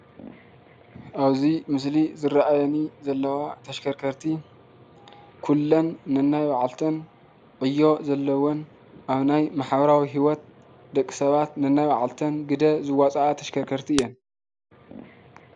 አብዚ ምስሊ ዝረአያኒ ዘለዋ ተሽከርከርቲ ኩለን ነናይ ባዕለተን ዕዮ ዘለወን አብ ናይ ማሕበራዊ ሂወት ደቂ ሰባት ነናይ ባዕለተን ግደ ዝዋፃአ ተሽከርከርቲ እየን፡፡